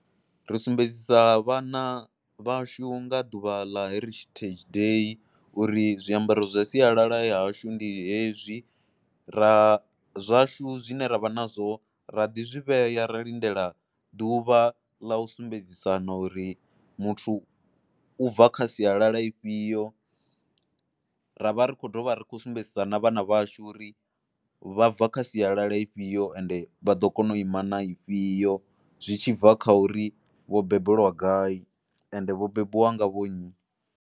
Ri sumbedzisa vhana vhashu nga ḓuvha ḽa Heritage Day uri zwiambaro zwa sialala ya hashu ndi hezwi, ra zwashu zwine ra vha nazwo ra ḓi zwi vhea ra lindela ḓuvha ḽa u sumbedzisana uri muthu u bva kha sialala ifhio, ra vha ri khou dovha ri khou sumbedzisana vhana vhashu uri vha bva kha sialala ifhio ende vha ḓo kona u ima na ifhio zwi tshi bva kha uri vho bembelwa gai ende vho bebiwa nga vho nnyi.